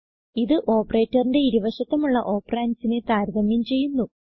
ഇത് ഓപ്പറേറ്റർ ന്റെ ഇരു വശത്തുമുള്ള ഓപ്പറണ്ട്സ് നെ താരതമ്യം ചെയ്യുന്നു